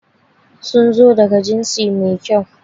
Sun zo daga jinsi mai kyau.